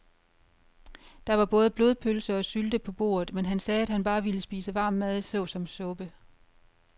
Der var både blodpølse og sylte på bordet, men han sagde, at han bare ville spise varm mad såsom suppe.